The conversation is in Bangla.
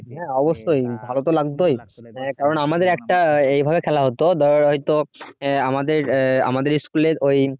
হ্যাঁ অবশ্যই ভালো তো লাগতেই কারণ আমাদের একটা এইভাবে খেলা হতো ধর হয়ত আহ আমাদের আহ আমাদের school এর ওই